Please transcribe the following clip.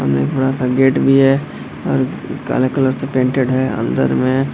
सामने एक बड़ा-सा गेट भी है और काला कलर से पेंटेड है अन्दर में।